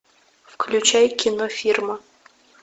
включай кино фирма